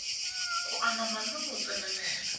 go anama le go tsenelela